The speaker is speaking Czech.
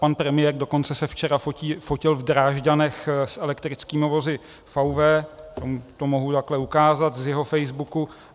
Pan premiér dokonce se včera fotil v Drážďanech s elektrickými vozy VW, to mohu takhle ukázat z jeho facebooku.